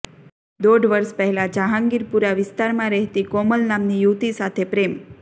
દોઢ વર્ષ પહેલાં જહાંગીરપુરા વિસ્તારમાં રહેતી કોમલ નામની યુવતી સાથે પ્રેમ